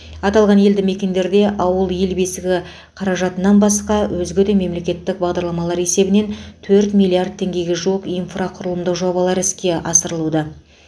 аталған елді мекендерде ауыл ел бесігі қаражатынан басқа өзге де мемлекеттік бағдарламалар есебінен төрт миллиард теңгеге жуық инфрақұрылымдық жобалар іске асырылуда